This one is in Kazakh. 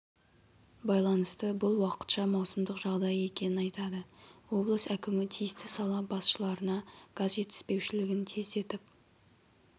байланысты бұл уақытша маусымдық жағдай екенін айтады облыс әкімі тиісті сала басшыларына газ жетіспеушілігін тездетіп